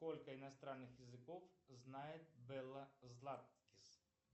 сколько иностранных языков знает белла златкис